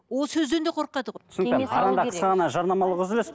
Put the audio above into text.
ол сөзден де қорқады ғой